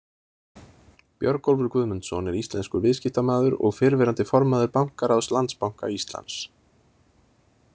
Björgólfur Guðmundsson er íslenskur viðskiptamaður og fyrrverandi formaður bankaráðs Landsbanka Íslands.